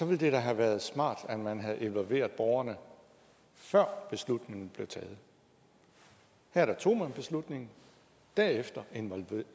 ville det da have været smart at man havde involveret borgerne før beslutningen blev taget her tog man beslutningen derefter